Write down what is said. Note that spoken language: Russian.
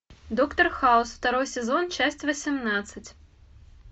доктор хаус второй сезон часть восемнадцать